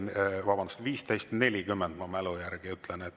Vabandust, kell 15.40, ma mälu järgi ütlen.